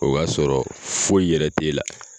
O y'a sɔrɔ foyi yɛrɛ te la